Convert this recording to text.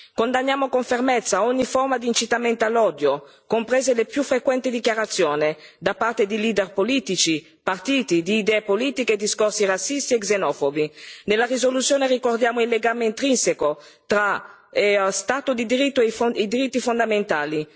Condanniamo con fermezza ogni forma di incitamento all'odio, comprese le sempre più frequenti dichiarazioni, da parte di leader politici e partiti, di idee politiche e discorsi razzisti e xenofobi. Nella risoluzione ricordiamo il legame intrinseco tra Stato di diritto e diritti fondamentali.